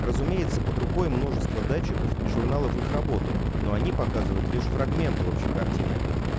разумеется под рукой множество датчиков и журналов их работы но они показывают лишь фрагменты общей картины